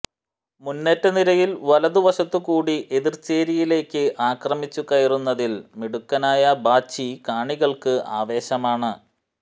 മുന്നേറ്റ നിരയിൽ വലതുവശത്തുകൂടെ എതിർചേരിയിലേക്ക് ആക്രമിച്ചു കയറുന്നതിൽ മിടുക്കനായ ബാച്ചി കാണികൾക്ക് ആവേശമാണ്